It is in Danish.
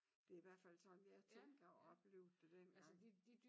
Det i hvert fald sådan jeg tænker og oplevede det dengang